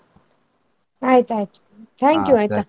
ಆಯ್ತ್ ಆಯ್ತು thank you ಆಯ್ತಾ.